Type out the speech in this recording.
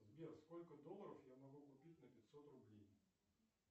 сбер сколько долларов я могу купить на пятьсот рублей